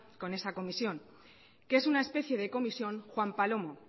con esa comisión que es una especie de comisión juan palomo